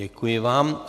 Děkuji vám.